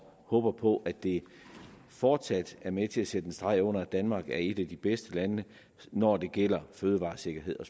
håber på at det fortsat er med til at sætte en streg under at danmark er et af de bedste lande når det gælder fødevaresikkerhed